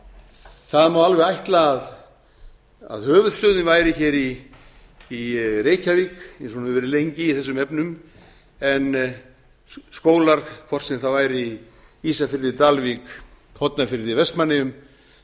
það má alveg ætla að höfuðstöðin væri hér í reykjavík eins og hún hefur verið lengi í þessum efnum en skólar hvort sem það væri ísafirði dalvík hornafirði vestmannaeyjum